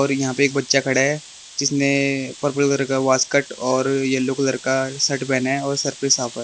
और यहां पे एक बच्चा खड़ा है जिसने पर्पल कलर का वासकट और येलो कलर का शर्ट पहना है और सर पे --